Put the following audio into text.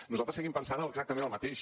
nosaltres seguim pensant exactament el mateix